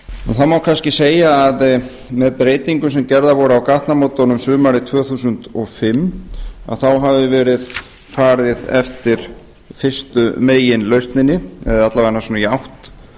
það má kannski segja að með breytingum sem gerðar voru á gatnamótunum sumarið tvö þúsund og fimm að þá hafi verið farið eftir fyrstu meginlausninni eða alla vega svona í átt